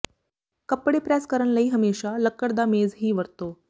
ਕੱਪੜੇ ਪ੍ਰੈੱਸ ਕਰਨ ਲਈ ਹਮੇਸ਼ਾ ਲੱਕੜ ਦਾ ਮੇਜ਼ ਹੀ ਵਰਤੋ